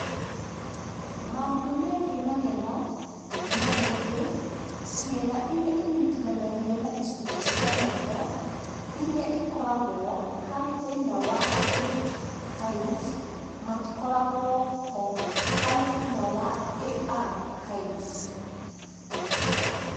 Maũndũ megiĩ magego, mahĩndĩ, ciĩga iria inyitithanagia na icunjĩ cia maitho irĩa ikoragwo harĩ thĩna wa AD HIES matikoragwo ho harĩ thĩna wa AR HIES